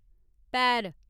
पैर